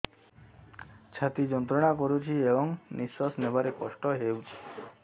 ଛାତି ଯନ୍ତ୍ରଣା କରୁଛି ଏବଂ ନିଶ୍ୱାସ ନେବାରେ କଷ୍ଟ ହେଉଛି